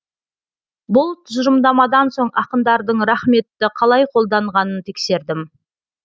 бұл тұжырымдамадан соң ақындардың рақметті қалай қолданғанын тексердім